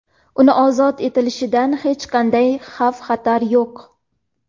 Uni ozod etilishidan hech qanday xavf xatar yo‘q.